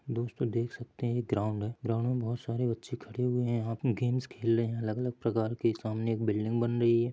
दोस्तों देख सकते हैं ये ग्राउन्ड है ग्राउन्ड मे बहोत सारे बच्चे खड़े हुए है यहाँ पे गेम्स खेल रहे है अलग-अलग प्रकार के सामने एक बिल्डिंग बन रही है।